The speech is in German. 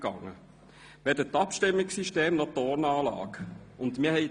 weder das Abstimmungssystem noch die Tonanlage.